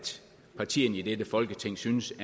partierne i dette folketing synes